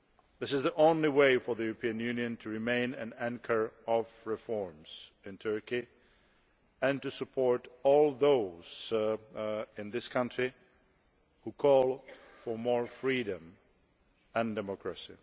This is the only way for the European Union to remain an anchor of reforms in Turkey and to support all those in that country who call for more freedom and democracy.